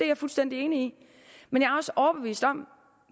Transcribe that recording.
jeg fuldstændig enig i men